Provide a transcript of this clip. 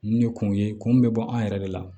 Nin ye kunw ye kun mun bɛ bɔ an yɛrɛ de la